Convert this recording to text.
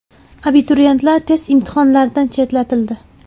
Abituriyentlar test imtihonlaridan chetlatildi.